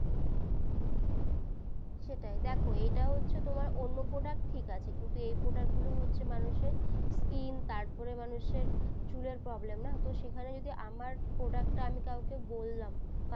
সেটাই দেখো এটা হচ্ছে তোমার অন্য product ঠিক আছে কিন্তু এই product গুলো হচ্ছে মানুষের skin তার পরে মানুষের চুলের problem না তো সেখানে যদি আমার product টা আমি কউকে বললাম